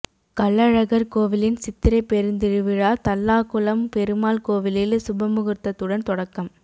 கள்ளழகர் கோவிலின் சித்திரை பெருந்திருவிழா தல்லாகுளம் பெருமாள் கோவிலில் சப்பரமுகூர்த்தத்துடன் தொடக்கம்